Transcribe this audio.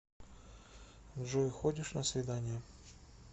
джой ходишь на свидания